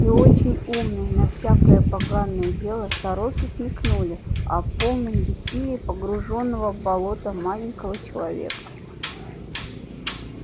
и очень умные на всякое поганое дело сороки смекнули о полном бессилии погруженного в болото маленького человека